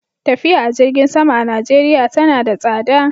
Tafiya a jirgin sama a Najeriya tana da tsada.